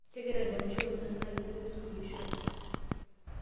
kagira adamisho oleng naa iyie ake suluhisho ai